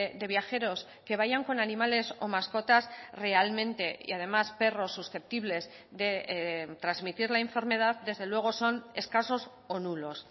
de viajeros que vayan con animales o más cotas realmente y además perros susceptibles de transmitir la enfermedad desde luego son escasos o nulos